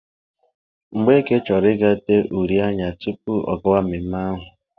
Mgbeke chọrọ ịga tee uri anya tupu ọ gawa mmemme ahụ.